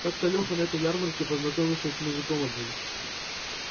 как-то леха на этой ярмарке познакомился с мужиком одним